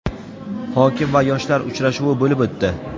hokim va yoshlar uchrashuvi bo‘lib o‘tdi.